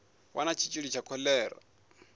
vha na tshitshili tsha kholera